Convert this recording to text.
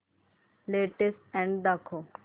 latest ad दाखव